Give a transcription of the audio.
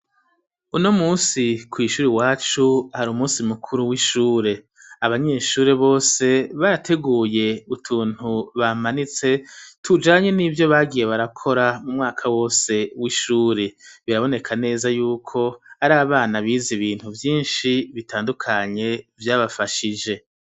Uno munsi kwishuri iwacu hari umunsi mukuru w'ishure, abanyeshuri bose barateguye utuntu bamanitse tujanye n'ivyo bagiye barakora mu mwaka wose w'ishure, biraboneka neza yuko ari abana biza ibintu vyinshi bitandukanye vyabafashije.